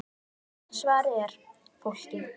Svarið er: Fólkið.